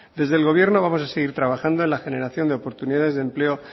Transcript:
desde el gobierno vamos a seguir trabajando en la generación de oportunidades de empleo